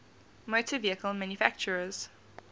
motor vehicle manufacturers